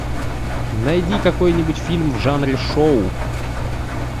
найди какой нибудь фильм в жанре шоу